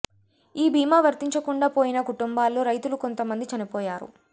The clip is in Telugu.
ఈ బీమా వర్తించకుండా పోయిన కుటుంబాల్లో రైతులు కొంత మంది చనిపోయారు